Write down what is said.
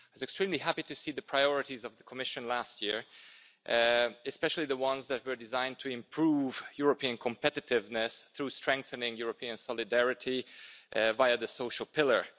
I was extremely happy to see the priorities of the Commission last year, especially the ones that were designed to improve European competitiveness through strengthening European solidarity via the social pillar.